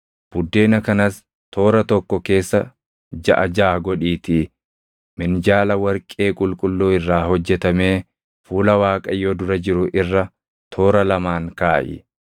Buddeena kanas toora tokko keessa jaʼa jaʼa godhiitii minjaala warqee qulqulluu irraa hojjetamee fuula Waaqayyoo dura jiru irra toora lamaan kaaʼi.